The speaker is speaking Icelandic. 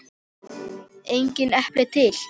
Engin epli til!